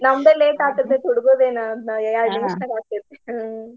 ನಮ್ದ late ಆಗ್ತೇತಿ ಹುಡ್ಗುರ್ದ ಏನ ಯ್ಯಾಡ ನಿಮಿಷಾನ್ಯಾಗ ಆಕ್ಕೇತಿ ಹ್ಮ್ .